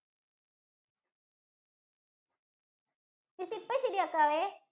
miss ഇപ്പോ ശരിയാക്കാവേ.